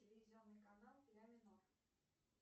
телевизионный канал ля минор